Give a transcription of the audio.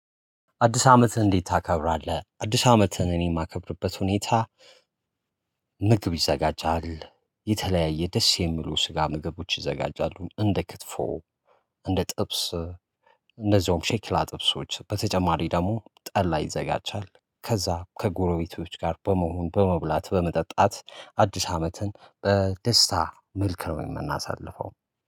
አዲስ አመትህን እንዴት ታከብራለህ? አዲስ አመትን እኔ የማከብርበት ሁኔታ። ምግብ ይዘጋጃል የተለያየ ደስ የሚሉ ስጋ ምግቦች ይዘጋጃሉ እንደ ክትፎ። እንደ ጥብስ እነዚያውም ሼክላ ጥብሶች በተጨማሪ ደግሞ ጠላ ይዘጋጃል ከዛ ከጎረቤቶች ጋር በመሆን በመብላት በመጠጣት አዲስ አመትን በደስታ መልክ ነው የምናሳልፈው